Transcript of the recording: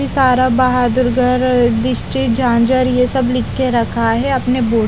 इसारा बहादुर गढ़ झांजर यह सब लिख के रखा हुआ है अपने बोर्ड --